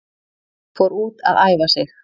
Fór út að æfa sig